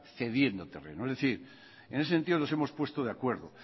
cediendo terrenos es decir en ese sentido nos hemos puesto de acuerdo